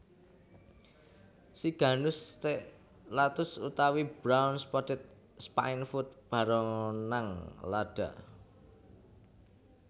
Siganus Stellatus utawi Brown Spotted Spinefoot baronang lada